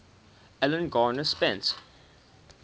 alan garner spent